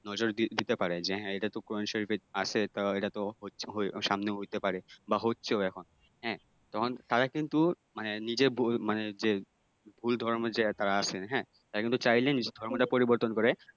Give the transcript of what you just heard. নজর দিতে পারে যে এটা তো সামনে কোরআন শরীফে আছে যা এটা তো সামনে হইতে পারে বা হচ্ছেও এখন হ্যাঁ তখন তারা কিন্তু মানে নিজের যে ভুল ধরার মাঝে আছে হ্যাঁ তারা কিন্তু চাইলে নিজের ধর্মটা পরিবর্তন করে